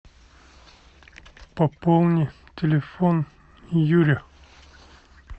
пополни телефон юре